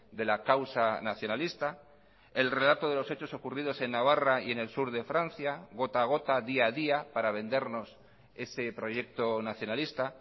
de la causa nacionalista el relato de los hechos ocurridos en navarra y en el sur de francia gota a gota día a día para vendernos ese proyecto nacionalista